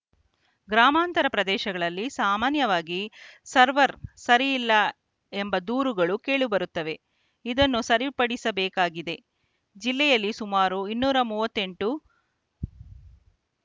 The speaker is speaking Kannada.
ಗ್ರಾಮಾಂತರ ಪ್ರದೇಶದಲ್ಲಿ ಸಾಮಾನ್ಯವಾಗಿ ಸರ್ವರ್‌ ಸರಿಯಿಲ್ಲ ಎಂಬ ದೂರುಗಳು ಕೇಳಿಬರುತ್ತವೆ ಇದನ್ನು ಸರಿಪಡಿಸಬೇಕಾಗಿದೆ ಜಿಲ್ಲೆಯಲ್ಲಿ ಸುಮಾರು ಇನ್ನೂರ ಮೂವತ್ತೆಂಟು